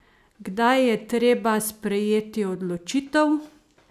Kdaj je treba sprejeti odločitev?